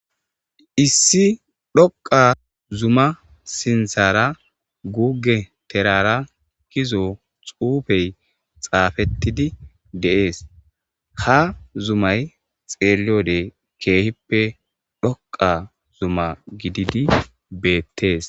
Issi dhoqa zuma sinthara guuge terara kizo xuufey xaafettidi deees ha zumay xeeleyode keehippe dhoqa zuma gididi beettees